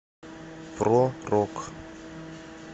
про рок